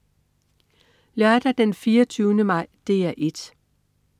Lørdag den 24. maj - DR 1: